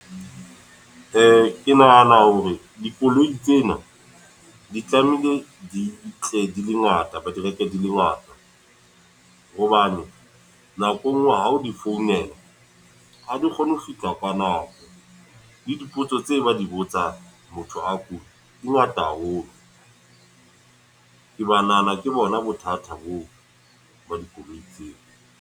Ke nahana hore, dikoloi tsena. Di tlamehile di tle di le ngata, ba di reke di le ngata. Hobane nako e nngwe ha o di founela, ha di kgone ho fihla ka nako. Le dipotso tse ba di botsang motho a kula, di ngata haholo. Ke nahana ke bona bothata boo ba dikoloi tseo.